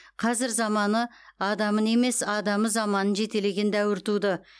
қазір заманы адамын емес адамы заманын жетелеген дәуір туды